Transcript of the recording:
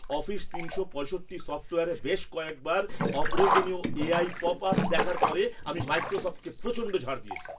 Office তিনশো পঁয়ষট্টি সফ্টওয়্যারে বেশ কয়েকবার অপ্রয়োজনীয় এআই পপআপ দেখার পরে আমি মাইক্রোসফ্টকে প্রচণ্ড ঝাড় দিয়েছি।